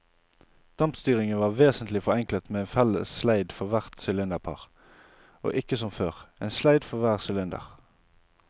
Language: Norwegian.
Dampstyringen var vesentlig forenklet med en felles sleid for hvert sylinderpar og ikke som før, en sleid for hver sylinder.